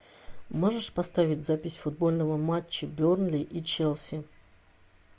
можешь поставить запись футбольного матча бернли и челси